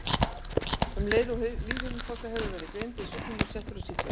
Um leið og lífhimnubólga hefur verið greind er sjúklingurinn settur á sýklalyf.